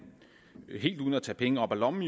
i øvrigt helt uden at tage penge op af lommen